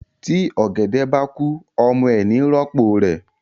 Tí ọ̀gẹ̀dẹ̀ bá kú ọmọ ẹ̀ ni í rọ́pò rẹ̀